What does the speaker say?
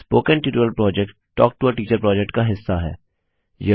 spoken tutorial project talk to a teacher project का हिस्सा है